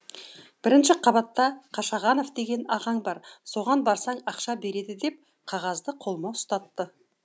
бірінші қабатта қашағанов деген ағаң бар соған барсаң ақша береді деп қағазды қолыма ұстатты